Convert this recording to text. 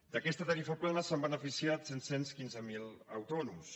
d’aquesta tarifa plana se n’han beneficiat set cents i quinze mil autònoms